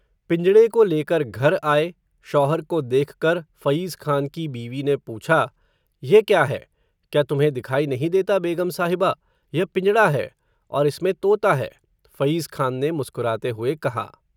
पिंजड़े को लेकर घर आए, शौहर को देखकर, फ़यिज़खान की बीवी ने पूछा, यह क्या है, क्या तुम्हें दिखाई नहीं देता बेग़म साहिबा, यह पिंजड़ा है, और इसमें तोता है, फ़यिज़खान ने मुस्कुराते हुए कहा